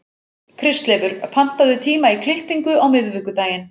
Kristleifur, pantaðu tíma í klippingu á miðvikudaginn.